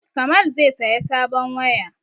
Kamal zai saya sabon waya